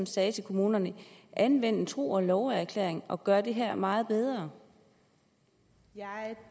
sagde til kommunerne anvend en tro og love erklæring og gør det her meget bedre